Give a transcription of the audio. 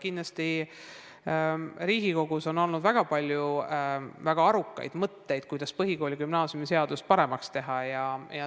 Kindlasti on Riigikogus olnud väga palju väga arukaid mõtteid, kuidas põhikooli- ja gümnaasiumiseadust paremaks teha.